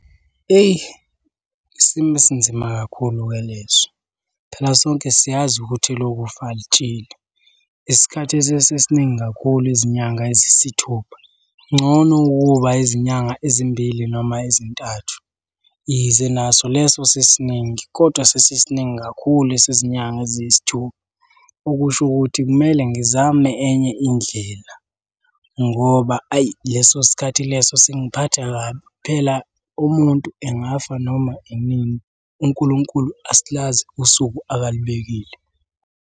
Eyi isimo esinzima kakhulu-ke leso. Phela sonke siyazi ukuthi elokufa alitsheli. Isikhathi sesisiningi kakhulu izinyanga eziyisithupha, ngcono ukuba izinyanga ezimbili noma ezintathu. Ize naso leso sesisiningi, kodwa sesisiningi kakhulu esezinyanga eziyisithupha. Okusho ukuthi kumele ngizame enye indlela, ngoba ayi leso sikhathi leso singiphatha kabi. Phela umuntu engafa noma inini. UNkulunkulu asilazi usuku akalibekile.